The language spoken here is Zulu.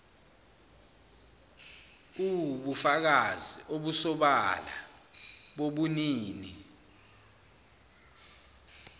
uwubufakazi obusobala bobunini